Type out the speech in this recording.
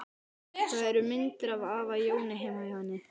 Það eru myndir af afa Jóni heima hjá henni.